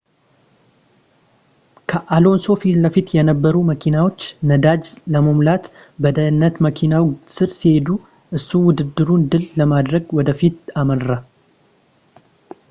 ከአሎንሶ ፊትለፊት የነበሩ መኪናዎች ነዳጅ ለመሙላት በደህንነት መኪናው ስር ሲሄዱ እሱ ውድድሩን ድል ለማድረግ ወደፊት አመራ